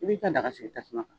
I b'i ka daga sigi tasuma